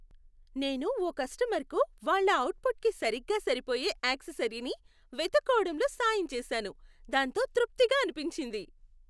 నేను ఓ కస్టమర్కు వాళ్ళ అవుట్ఫిట్కి సరిగ్గా సరిపోయే యాక్సెసరీని వెతుక్కోవడంలో సాయం చేశాను, దాంతో తృప్తిగా అనిపించింది.